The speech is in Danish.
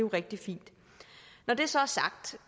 rigtig fint når det så er sagt